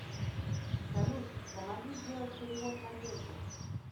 салют помоги сделать перевод надежде